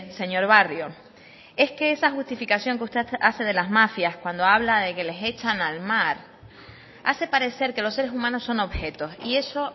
señor barrio es que esa justificación que usted hace de las mafias cuando habla de que les echan al mar hace parecer que los seres humanos son objetos y eso